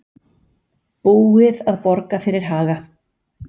Búið að borga fyrir Haga